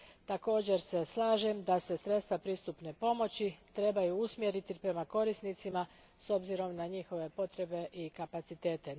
Također se slažem da se sredstva pristupne pomoći trebaju usmjeriti prema korisnicima s obzirom na njihove potrebe i kapacitete.